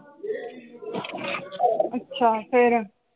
ਅੱਛਾ ਫਿਰ?